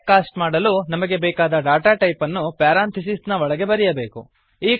type cast ಮಾಡಲು ನಮಗೆ ಬೇಕಾದ ಡಾಟಾ ಟೈಪ್ ಅನ್ನು ಪ್ಯಾರಾಂಥಿಸಿಸ್ ನ ಒಳಗೆ ಬರೆಯಬೇಕು